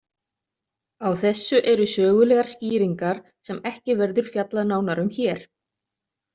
Á þessu eru sögulegar skýringar sem ekki verður fjallað nánar um hér.